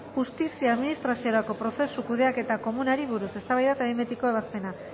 justizia administraziorako prozesu kudeaketa komunari buruz eztabaida eta behin betiko ebazpena